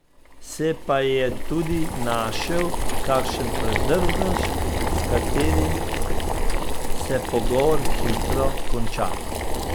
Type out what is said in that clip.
Se pa je tudi našel kakšen predrznež, s katerim se pogovor hitro konča.